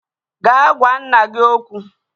Gaa gwa nna gị okwu